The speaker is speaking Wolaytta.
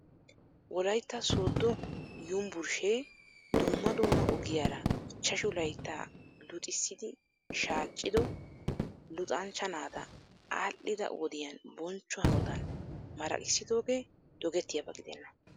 Wolaytta sooddo yumbburshee dumma dumma ogiyaara ichchashu laytaa luxisiidi shaaccido luxanchch naata aadhdhida wodiyan bonchcho hanotan maraqissidoogee dogettiyaaba gidenna .